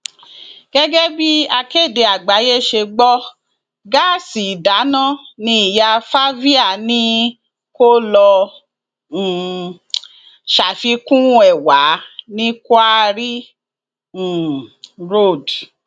gẹgẹ bí akéde àgbáyé ṣe gbọ gáàsì ìdáná ní ìyá favia ni kó lọọ um ṣàfikún ẹ wà ní quarry um road